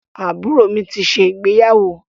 Àbúrò mi ti ṣe ìgbéyàwó